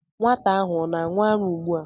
Nwata ahụ o na-aṅụ ara ugbu a?